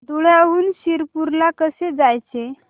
धुळ्याहून शिरपूर ला कसे जायचे